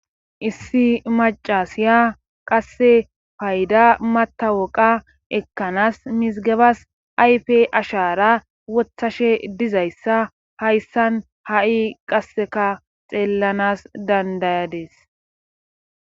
issi macasiya qasse payda matawoqa ekkanas misigebas ayfe ashara wothashe dizayssa hayssan ha7i qasseka xeellanas dandayades